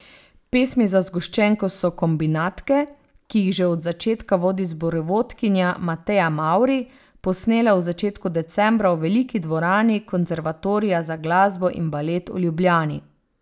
Pesmi za zgoščenko so kombinatke, ki jih že od začetka vodi zborovodkinja Mateja Mavri, posnele v začetku decembra v veliki dvorani Konservatorija za glasbo in balet v Ljubljani.